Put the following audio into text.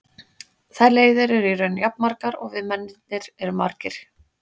Þær leiðir eru í raun jafn margar og við mennirnir erum margir.